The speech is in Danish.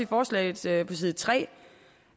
forslagsstillernes side